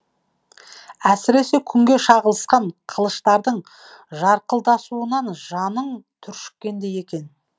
әсіресе күнге шағылысқан қылыштардың жарқылдасуынан жаның түршіккендей екен